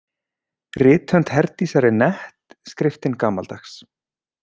Rithönd Herdísar er nett, skriftin gamaldags.